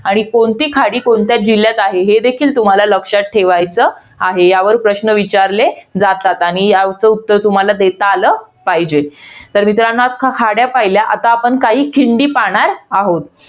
आणि कोणती खाडी, कोणत्या जिल्ह्यात आहे हे देखील तुम्हाला लक्षात ठेवायचं आहे. यावर प्रश्न विचारले जातात. आणि याचं उत्तर तुम्हाला देता आलं, पाहिजे. तर मित्रांनो आता आपण खाड्या पहिल्या. आता आपण काही खिंडी पाहणार आहोत.